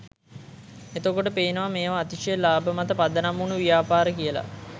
එතකොට පේනවා මේවා අතිශය ලාභ මත පදනම් වුන ව්‍යාපාර කියල